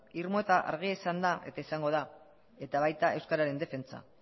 irmoa eta argia izan da eta izango da eta baita euskararen defentsa